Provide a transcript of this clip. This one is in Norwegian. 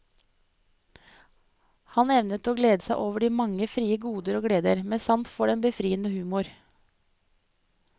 Han evnet å glede seg over de mange frie goder og gleder, med sans for den befriende humor.